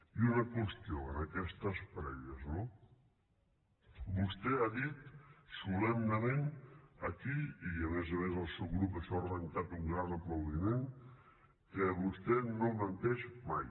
i una qüestió en aquestes prèvies no vostè ha dit solemnement aquí i a més a més al seu grup això ha arrencat un gran aplaudiment que vostè no menteix mai